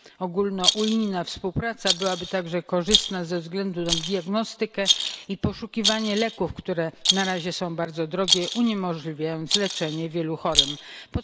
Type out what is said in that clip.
Ogólnounijna współpraca byłaby także korzystna ze względu na diagnostykę i poszukiwanie leków, które na razie są bardzo drogie, co uniemożliwia wielu chorym leczenie.